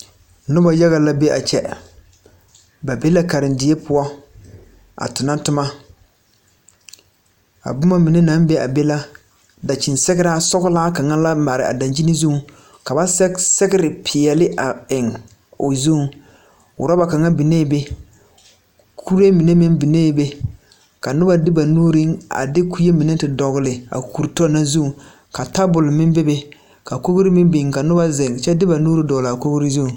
Noba yaga la be a kyɛ ba be la karenderi poɔ a tona toma a boma mine naŋ be a be la daŋkyini sɔglaa kaŋa la mare a daŋkyini zuŋ ka ba sɛge sɛgre peɛle a eŋ o zuŋ uraba kaŋa biŋee be kuree mine meŋ biŋee be ka noba de banuuri a kue mine a te dogli a kuri tɔ na zuŋ tabul meŋ be be ka kogri meŋ biŋ ka noba zeŋ kyɛ de ba nuuri dogli a kogri zu.